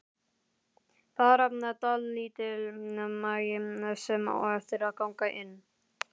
Bara dálítill magi sem á eftir að ganga inn.